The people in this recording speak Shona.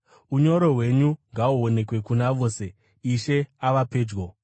Unyoro hwenyu ngahuonekwe kuna vose. Ishe ava pedyo.